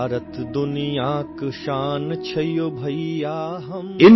Maithili Sound Clip 30 seconds